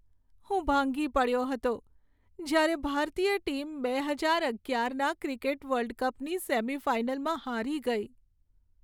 હું ભાંગી પડ્યો હતો જ્યારે ભારતીય ટીમ બે હજાર અગિયારના ક્રિકેટ વર્લ્ડ કપની સેમિફાઇનલમાં હારી ગઈ.